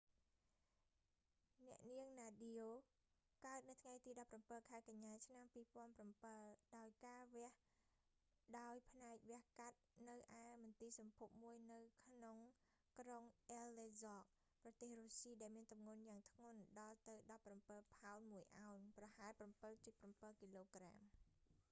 អ្នកនាងណាឌៀ nadia កើតនៅថ្ងៃទី១៧ ខែកញ្ញា ឆ្នាំ២០០៧ ដោយការវះដោយផ្នែកវះកាត់នៅឯមន្ទីរសម្ភពមួយនៅក្រុងអ៊ែលលេសក៍ aleisk ប្រទេសរុស្ស៊ី ដោយមានទម្ងន់យ៉ាងធ្ងន់ដល់ទៅ១៧ ផោន ១ អោន ប្រហែល ៧.៧ គ.ក។